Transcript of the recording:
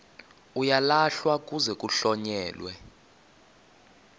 uyalahlwa kuze kuhlonyelwe